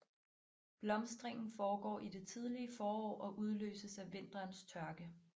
Blomstringen foregår i det tidlige forår og udløses af vinterens tørke